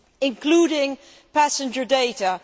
including passenger data.